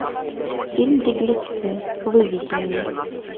фильм беглецы выведи мне